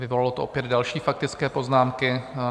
Vyvolalo to opět další faktické poznámky.